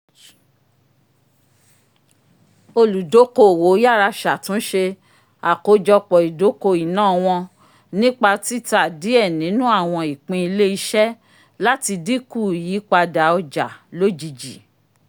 oludokoowo yárá ṣatunṣe àkójọpọ̀-idoko iná wọn nípa tita diẹ ninu awọn ìpín ilé-iṣẹ́ lati dinkù ìyípadà ọjà lojiji